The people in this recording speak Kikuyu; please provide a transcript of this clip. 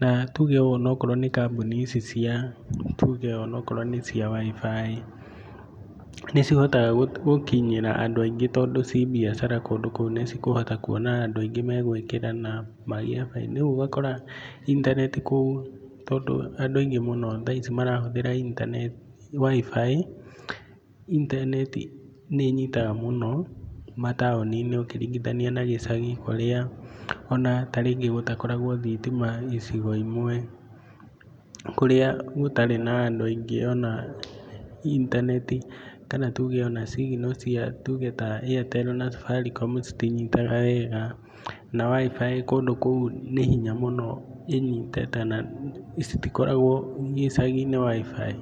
na tuge ona wakorwo nĩ kambũni ici cia tuge onawakorwo nĩ cia WIFI, nĩcihotaga gũkinyĩra andũ aingĩ tondũ ci biacara kũndũ kũu nĩcikũhota kwona andũ aingĩ nĩmegwĩkĩra WIFI rĩũ ũgakora intaneti kũu tondũ andũ aingĩ mũno thaa ici marahũthĩra WIFI, intaneti nĩ nyitaga mũno mataũninĩ ũkĩringinathia na gĩcagi kũrĩa ona rĩngĩ gũtakoragwa na thitima icigo imwe, kũrĩa gũtarĩ na andũ aingĩ ona intaneti kana tuge ona signal tuge ta AirtelnaSafaricomcitinyitaga wega na WIFI kũndũ kũu nĩ hinya mũno ĩnyite na citikoragwo gĩcaginĩ WIFI.